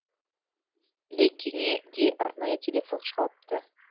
ілекеңе де арнайы телефон шалыпты